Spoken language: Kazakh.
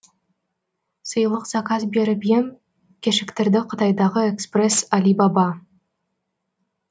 сыйлық заказ беріп ем кешіктірді қытайдағы экспресс алибаба